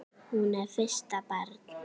Hún er fyrsta barn.